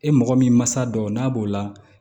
E mɔgɔ min mansa dɔw n'a b'o la